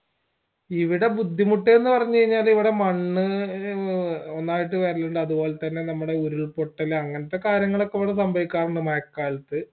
ഇവിടെ ബുദ്ധിമുട്ടയെന്ന് പറഞ്ഞ് കഴിഞ്ഞ ഇവിടെ മണ്ണ് ഒന്നായിട്ട് വരലുണ്ട്‌ അതുപോലെ തെന്നെ നമ്മടെ ഉരുൾപൊട്ടൽ അങ്ങൻത്തെ കാര്യങ്ങളൊക്കെ ഇവിടെ സംഭവിക്കാറിണ്ട് മഴക്കാലത്ത്